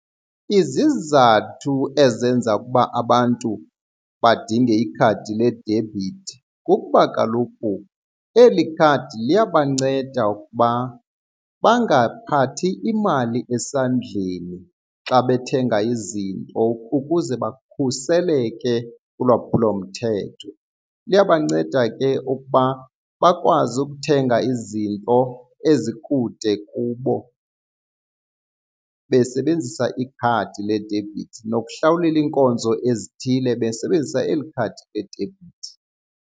Izizathu ezenza ukuba abantu badinge ikhadi ledebhithi kukuba kaloku eli khadi liyabanceda ukuba bangaphathi imali esandleni xa bethenga izinto ukuze bakhuseleke kulwaphulo mthetho. Liyabanceda ke ukuba bakwazi ukuthenga izinto ezikude kubo besebenzisa ikhadi ledebhithi nokuhlawulela iinkonzo ezithile besebenzisa eli khadi ledebhithi.